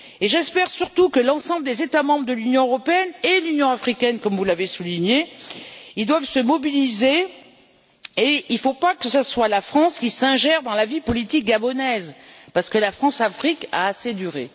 J'espère surtout que l'ensemble des États membres de l'Union européenne et l'Union africaine, comme vous l'avez souligné, se mobilisent, et il ne faut pas que ce soit la France qui s'ingère dans la vie politique gabonaise, parce que la France Afrique a assez duré.